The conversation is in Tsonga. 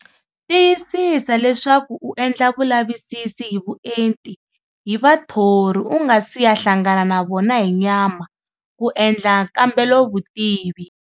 Tiyisisa leswaku u endla vulavisisi hi vuenti hi vathori u ngasi ya hlangana na vona hi nyama ku endla nkambelovutivi.